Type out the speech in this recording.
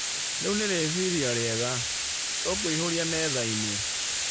Rĩu nĩ rĩciria rĩega. Tũkũihũria metha-inĩ.